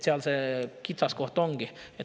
Seal see kitsaskoht ongi.